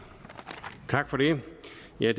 er